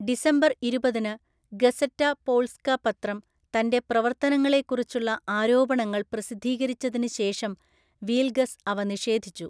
December ഇരുപതിന് Gazeta Polska പത്രം തന്‍റെ പ്രവർത്തനങ്ങളെക്കുറിച്ചുള്ള ആരോപണങ്ങൾ പ്രസിദ്ധീകരിച്ചതിന് ശേഷം, വീൽഗസ് അവ നിഷേധിച്ചു.